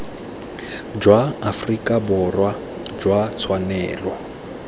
jwa aforika borwa jwa tshwanelo